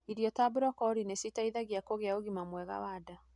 Irio ta brocoli niciteithagia kũgĩa ũgima mwega wa nda.